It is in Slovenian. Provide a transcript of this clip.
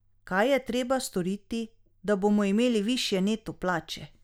Kaj je treba storiti, da bomo imeli višje neto plače?